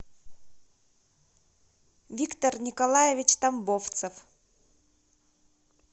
виктор николаевич тамбовцев